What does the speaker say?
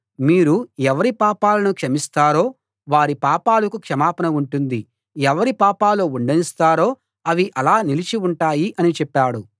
మీరు ఎవరి పాపాలను క్షమిస్తారో వారి పాపాలకు క్షమాపణ ఉంటుంది ఎవరి పాపాలు ఉండనిస్తారో అవి అలా నిలిచి ఉంటాయి అని చెప్పాడు